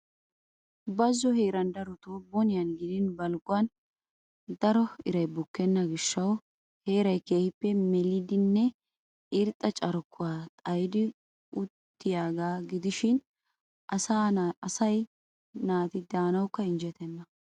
Bazzo heeran darotoo boniyan gidin balgguwan daro iray bukkena gishshaw heeray keehippe melidinne irxxaa carkkuwakka xayyidi uttiyaaga gidishin asay naati de'anawukka injjettena.